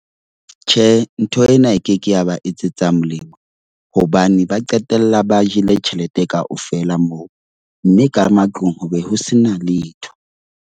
Tjhe, ntho ena e ke ke ya ba etsetsa molemo hobane ba qetella ba jele tjhelete kaofela moo. Mme ka matlung hobe ho sena letho.